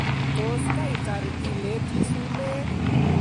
Tos kaitar ileti sumek